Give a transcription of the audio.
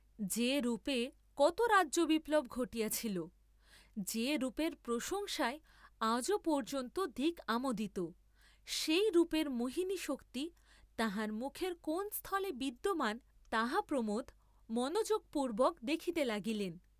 যে রূপে কত রাজ্যবিপ্লব ঘটিয়াছিল, যে রূপের প্রশংসায় আজও পর্য্যন্ত দিক আমোদিত, সেই রূপের মোহিনী শক্তি তাঁহার মুখের কোন স্থলে বিদ্যমান তাহা প্রমোদ মনোযোগপূর্ব্বক দেখিতে লাগিলেন।